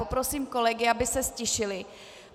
Poprosím kolegy, aby se ztišili.